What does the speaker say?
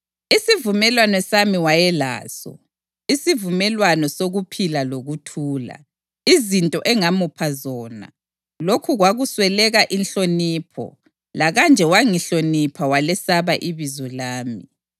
“Isivumelwano sami wayelaso, isivumelwano sokuphila lokuthula, izinto engamupha zona; lokhu kwakuswela inhlonipho, lakanje wangihlonipha walesaba ibizo lami.